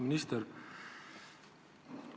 Auväärt minister!